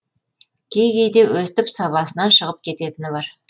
кей кейде өстіп сабасынан шығып кететіні бар